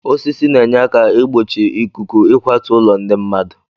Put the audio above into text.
Osisi na-enye aka igbochi ikuku ịkwatu ụlọ ndị mmadụ